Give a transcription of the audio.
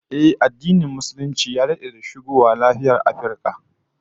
Ehh, addinin Musulunci ya dade da shigowa nahiyar Afirka